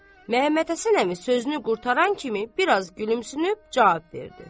Məmmədhəsən əmi sözünü qurtaran kimi, biraz gülümsünüb cavab verdi.